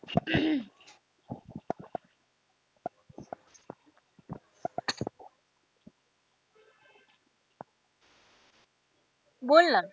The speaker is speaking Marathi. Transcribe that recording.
बोल ना.